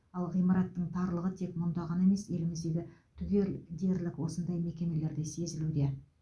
ал ғимараттың тарлығы тек мұнда ғана емес еліміздегі түгел дерлік осындай мекемелерде сезілуде